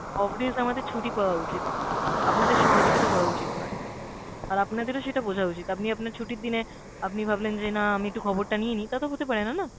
off days আমাদের ছুটি পাওয়া উচিত, আপনাদের সহযোগিতা করা উচিত নয়। আর আপনাদেরও সেটা বোঝা উচিত, আপনি আপনার ছুটির দিনে আপনি ভাবলেন যে না আমি একটু খবরটা নিয়ে নি, তা তো হতে পারে না না।